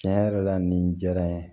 Tiɲɛ yɛrɛ la nin diyara n ye